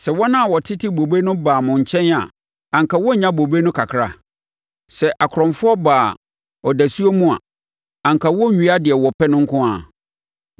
Sɛ wɔn a wɔtete bobe no baa mo nkyɛn a anka wɔrennya bobe no kakra? Sɛ akorɔmfoɔ baa ɔdasuo mu a, anka wɔrenwia deɛ wɔpɛ nko ara?